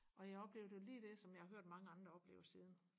og jeg oplevde jo lige det som jeg har hørt mange andre har oplevet siden